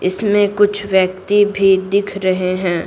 इसमें कुछ व्यक्ति भी दिख रहे हैं।